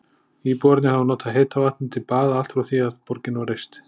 Íbúarnir hafa notað heita vatnið til baða allt frá því að borgin var reist.